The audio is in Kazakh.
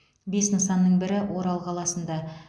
бес нысанның бірі орал қаласында